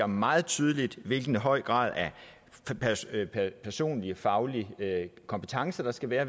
meget tydeligt hvilken høj grad af personlige og faglige kompetencer der skal være